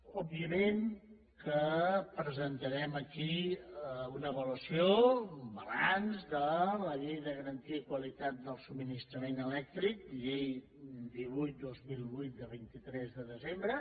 òbviament que presentarem aquí una avaluació un balanç de la llei de garantia i qualitat del subministrament elèctric llei divuit dos mil vuit de vint tres de desembre